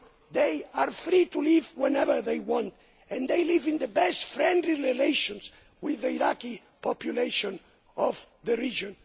They are free to leave whenever they want and they live in the best friendly relations with the Iraqi population of the region.